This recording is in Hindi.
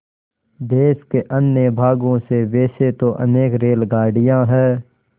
देश के अन्य भागों से वैसे तो अनेक रेलगाड़ियाँ हैं